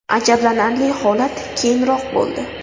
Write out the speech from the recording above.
Ajablanarli holat keyinroq bo‘ldi.